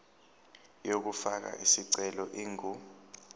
yokufaka isicelo ingu